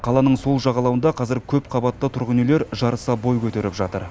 қаланың сол жағалауында қазір көпқабатты тұрғын үйлер жарыса бой көтеріп жатыр